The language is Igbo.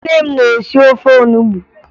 Nne m na-esi ofe onubo